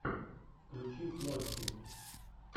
включи флости